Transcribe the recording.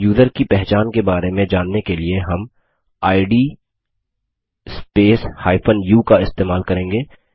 user की पहचान के बारे में जानने के लिए हम इद स्पेस u का इस्तेमाल करेंगे